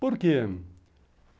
Por quê?